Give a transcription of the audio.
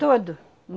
Todo.